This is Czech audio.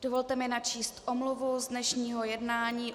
Dovolte mi načíst omluvu z dnešního jednání.